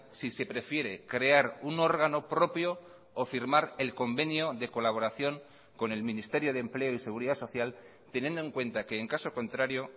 si se prefiere crear un órgano propio o firmar el convenio de colaboración con el ministerio de empleo y seguridad social teniendo en cuenta que en caso contrario